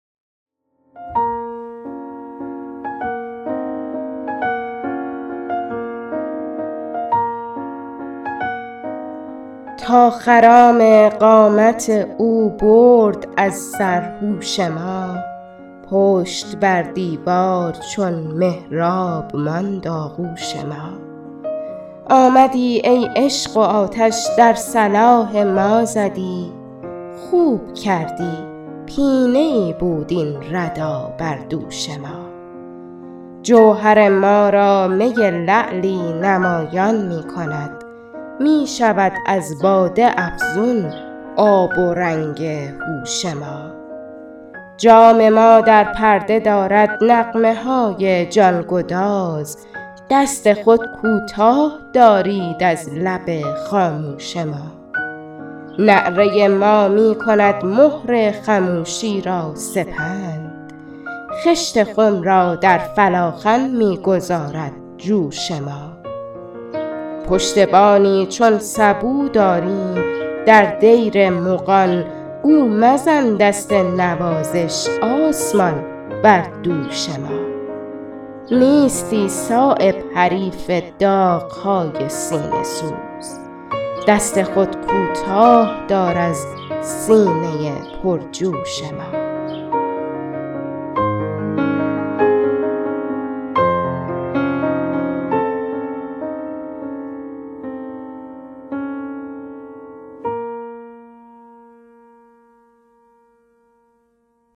تا خرام قامت او برد از سر هوش ما پشت بر دیوار چون محراب ماند آغوش ما آمدی ای عشق و آتش در صلاح ما زدی خوب کردی پینه ای بود این ردا بر دوش ما جوهر ما را می لعلی نمایان می کند می شود از باده افزون آب و رنگ هوش ما جام ما در پرده دارد نغمه های جانگداز دست خود کوتاه دارید از لب خاموش ما نعره ما می کند مهر خموشی را سپند خشت خم را در فلاخن می گذارد جوش ما پشتبانی چون سبو داریم در دیر مغان گو مزن دست نوازش آسمان بر دوش ما نیستی صایب حریف داغ های سینه سوز دست خود کوتاه دار از سینه پرجوش ما